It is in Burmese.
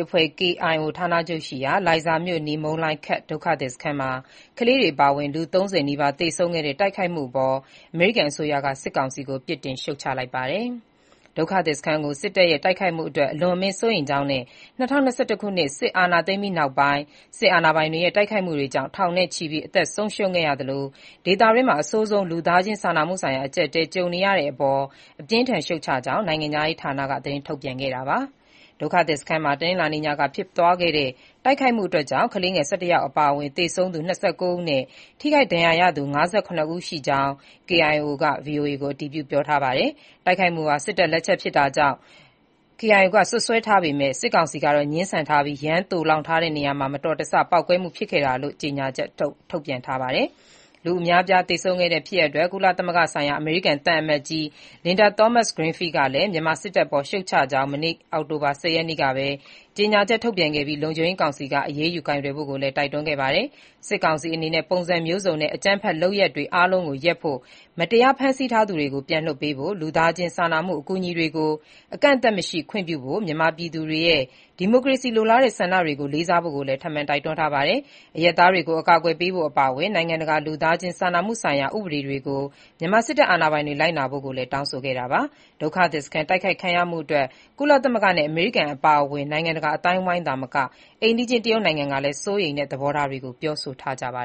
အဖွဲ့ KIO ဌာချုပ်ရှိရာ၊ လိုင်ဇာမြို့အနီး မုန်လိုင်ခက် ဒုက္ခသည်စခန်းမှာ ကလေးတွေ အပါအဝင် လူ ၃၀ နီးပါး သေဆုံးခဲ့တဲ့ တိုက်ခိုက်မှုအပေါ် အမေရိကန်က စစ်ကောင်စီကို ပြစ်တင်ရှုတ်ချလိုက်ပါတယ်။ ဒုက္ခသည်စခန်းကို စစ်တပ်ရဲ့ တိုက်ခိုက်မှုအတွက် အလွန်အမင်း စိုးရိမ်ကြောင်းနဲ့ ၂၀၂၁ ခုနှစ် စစ်အာဏာသိမ်းပြီး နောက်ပိုင်း စစ်အာဏာပိုင်တွေရဲ့ တိုက်ခိုက်မှုတွေကြောင့် ထောင်နဲ့ချီပြီး အသက်ဆုံးရှုံးခဲ့ရသလို၊ ဒေသတွင်းမှာ အဆိုးဆုံး လူသားချင်းစာနာမှုဆိုင်ရာ အကြပ်အတည်း ကြုံနေရတဲ့အပေါ် အပြင်းအထန် ရှုတ်ချကြောင်း နိုင်ငံခြားရေးဌာနက သတင်းထုတ်ပြန်ခဲ့တာပါ။ ဒုက္ခသည်စခန်းမှာ တနင်္လာနေ့ညကဖြစ်သွားတဲ့ တိုက်ခိုက်မှုကြောင့် ကလေး ၁၁ ယောက် အပါအဝင် သေဆုံးသူ ၂၉ ဦးနဲ့ ထိခိုက်ဒဏ်ရာရရှိသူ ၅၇ ဦးရှိကြောင်း KIO က ဗွီအိုအေကို အတည်ပြုထားပါတယ်။ တိုက်ခိုက်မှုဟာ စစ်တပ် လက်ချက်ဖြစ်ကြောင်းလည်း KIO က စွပ်စွဲထားပေမဲ့ စစ်ကောင်စီကတော့ ငြင်းဆန်ထားပြီး၊ ယမ်းသိုလှောင်ထားတဲ့ နေရာမှာ မတော်တဆ ပေါက်ကွဲမှု ဖြစ်ခဲ့တာလို့ ဒီကနေ့ပဲ ကြေညာချက် ထုတ်ပြန် တုံ့ပြန်ထားပါတယ်။ လူအများအပြား သေဆုံးခဲ့တဲ့ ဖြစ်ရပ်အတွက် ကုလသမဂ္ဂဆိုင်ရာ အမေရိကန် သံအမတ်ကြီး Linda Thomas-Greenfield ကလည်း မြန်မာစစ်တပ်အပေါ် ရှုတ်ချကြောင်း မနေ့ အောက်တိုဘာ ၁၀ ရက်နေ့ကပဲ ကြေညာချက် ထုတ်ပြန်ခဲ့ပြီး၊ လုံခြုံရေးကောင်စီက အရေးယူ ကိုင်တွယ်ဖို့လည်း တိုက်တွန်းခဲ့တာပါ။ စစ်ကောင်စီ အနေနဲ့ ပုံစံမျိုးစုံနဲ့ အကြမ်းဖက် လုပ်ရပ်တွေ အားလုံးကိုရပ်ဖို့၊ မတရား ဖမ်းဆီးထားသူတွေကို ပြန်လွှတ်ပေးဖို့၊ လူသားချင်း စာနာမှု အကူအညီတွေကို အကန့်အသတ်မရှိ ခွင့်ပြုဖို့၊ မြန်မာပြည်သူတွေရဲ့ ဒီမိုကရေစီလိုလားတဲ့ ဆန္ဒတွေကို လေးစားဖို့လည်း ထပ်မံတိုက်တွန်းထားပါတယ်။ အရပ်သားတွေကို အကာအကွယ်ပေးဖို့ အပါအဝင် နိုင်ငံတကာ လူသားချင်းစာနာမှုဆိုင်ရာ ဥပဒေတွေကို မြန်မာစစ်အာဏာပိုင်တွေ လိုက်နာဖို့လည်း တောင်းဆိုခဲ့တာပါ။ ဒုက္ခသည်စခန်း တိုက်ခိုက်ခံရမှုအတွက် ကုလသမဂ္ဂနဲ့ အမေရိကန် အပါအဝင် နိုင်ငံတကာ အသိုင်းအဝိုင်းသာမက အိမ်နီးချင်း တရုတ်နိုင်ငံကလည်း စိုးရိမ်တဲ့ သဘောထားတွေကို ပြောဆိုထားကြပါ